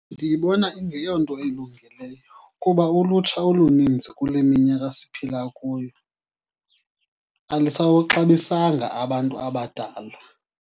Ndiyibona ingeyonto ilungileyo, kuba ulutsha oluninzi kule minyaka siphila kuyo alisawuxabisanga abantu abadala.